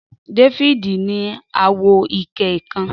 Dafidi ni awo ike kan.